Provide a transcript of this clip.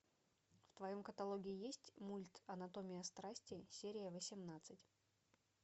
в твоем каталоге есть мульт анатомия страсти серия восемнадцать